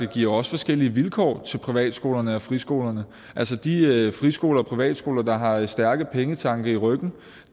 giver forskellige vilkår for privatskolerne og friskolerne altså de friskoler og privatskoler der har stærke pengetanke i ryggen